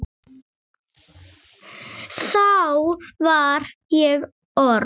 Þá var ég orð